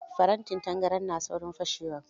Farantin tangaran na saurin fashewa.